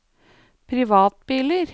privatbiler